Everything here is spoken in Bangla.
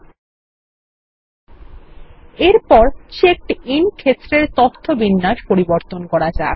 ল্টপাউসেগ্ট এরপর চেকড আইএন ক্ষেত্রের তথ্য বিন্যাস পরিবর্তন করা যাক